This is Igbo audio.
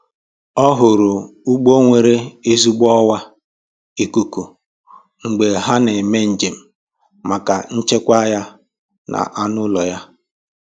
Ọ họọrọ ụgbọ nwere ezigbo ọwa ikuku mgbe ha na-eme njem maka nchekwa ya na anụ ụlọ ya